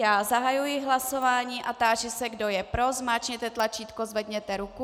Já zahajuji hlasování a táži se, kdo je pro, zmáčkněte tlačítko, zvedněte ruku.